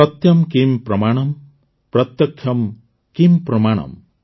ସତ୍ୟମ୍ କିମ୍ ପ୍ରମାଣମ୍ ପ୍ରତ୍ୟକ୍ଷମ୍ କିମ୍ ପ୍ରମାଣମ୍